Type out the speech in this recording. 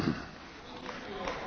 Meine Damen und Herren!